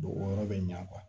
o yɔrɔ bɛ ɲɛ